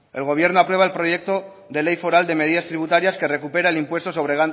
el gobierno aprueba el proyecto de ley foral de medidas tributarias que recupera el impuesto sobre